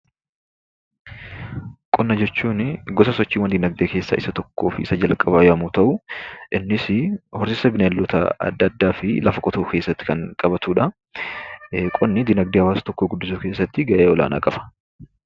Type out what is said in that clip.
Qonna jechuun gosa sochii dinagdee keessaa isa tokkoo fi isa jalqabaa yommuu ta'u, innis horsiisa bineeldota adda addaa fi lafa qotuu of keessatti kan qabatudha. Qonni dinagdee hawaasa tokkoo guddisuu keessatti gahee ol'aanaa qaba.